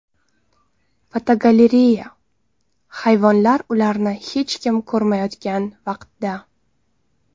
Fotogalereya: Hayvonlar ularni hech kim ko‘rmayotgan vaqtda.